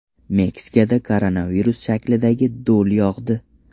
Meksikada koronavirus shaklidagi do‘l yog‘di .